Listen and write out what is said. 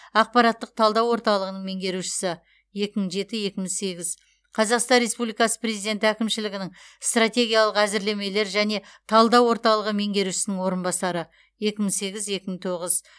ақпараттық талдау орталығының меңгерушісі екі мың жеті екі мың сегіз қазақстан республикасы президенті әкімшілігінің стратегиялық әзірлемелер және талдау орталығы меңгерушісінің орынбасары екі мың сегіз екі мың тоғыз